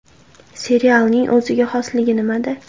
Serialning o‘ziga xosligi nimada?